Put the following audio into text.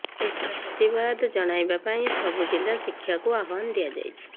ଏହାର ପ୍ରତିବାଦ ଜଣାଇବା ପାଇଁ ସବୁ ଜିଲ୍ଲା ଶାଖାକୁ ଆହ୍ୱାନ ଦିଆଯାଇଛି